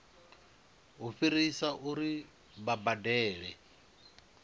u fhirisa uri vha badele